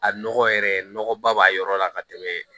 A nɔgɔ yɛrɛ nɔgɔba b'a yɔrɔ la ka tɛmɛ